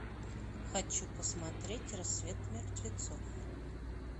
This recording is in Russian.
хочу посмотреть рассвет мертвецов